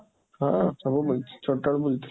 ହଁ, ସବୁ ବୁଲିଛି, ଛୋଟ ବେଳୁ ବୁଲିଛି।